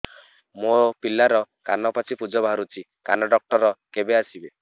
ମୋ ପିଲାର କାନ ପାଚି ପୂଜ ବାହାରୁଚି କାନ ଡକ୍ଟର କେବେ ଆସିବେ